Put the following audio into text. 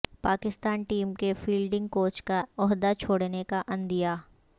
Pakistan team کے fielding coach کا عہدہ چھوڑنے کا عندیہ